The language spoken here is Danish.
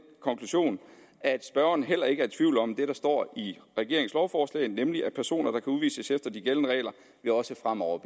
konklusion at spørgeren heller ikke er i tvivl om det der står i regeringens lovforslag nemlig at personer der kan udvises efter de gældende regler også fremover